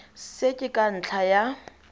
se ke ka ntlha ya